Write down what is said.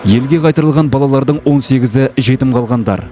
елге қайтарылған балалардың он сегізі жетім қалғандар